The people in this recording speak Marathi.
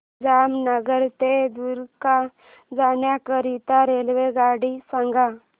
जामनगर ते द्वारका जाण्याकरीता रेल्वेगाडी सांग